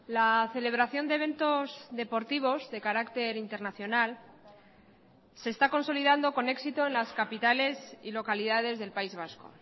la celebración de eventos deportivos de carácter internacional se está consolidando con éxito en las capitales y localidades del país vasco